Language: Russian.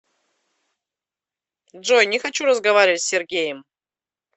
джой не хочу разговаривать с сергеем